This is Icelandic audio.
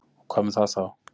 Og hvað með það þá?